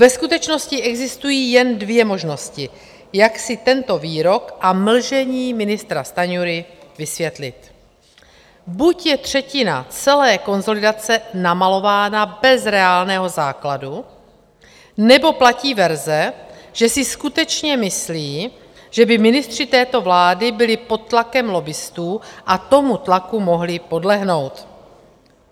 Ve skutečnosti existují jen dvě možnosti, jak si tento výrok a mlžení ministra Stanjury vysvětlit: buď je třetina celé konsolidace namalována bez reálného základu, nebo platí verze, že si skutečně myslí, že by ministři této vlády byli pod tlakem lobbistů a tomu tlaku mohli podlehnout.